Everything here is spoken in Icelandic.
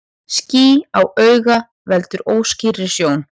Ský á auga veldur óskýrri sjón.